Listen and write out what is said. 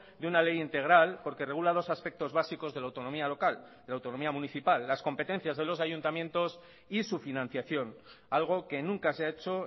de una ley integral porque regula dos aspectos básicos de la autonomía local de la autonomía municipal las competencias de los ayuntamientos y su financiación algo que nunca se ha hecho